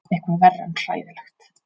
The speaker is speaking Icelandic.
Eitthvað verra en hræðilegt.